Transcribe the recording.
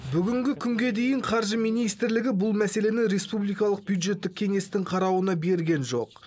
бүгінгі күнге дейін қаржы министрлігі бұл мәселені республикалық бюджеттік кеңестің қарауына берген жоқ